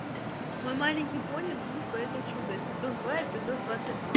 мой маленький пони дружба это чудо сезон два эпизод двадцать два